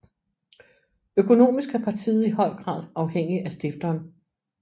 Økonomisk er partiet i høj grad afhængig af stifteren